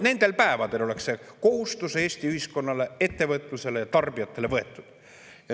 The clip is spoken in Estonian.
Nendel päevadel oleks see kohustus Eesti ühiskonnale, ettevõtlusele ja tarbijatele võetud.